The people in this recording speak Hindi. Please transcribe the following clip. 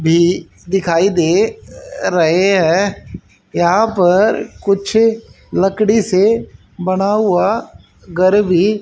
भी दिखाई दे रहे है यहां पर कुछ लकड़ी से बना हुआ घर भी--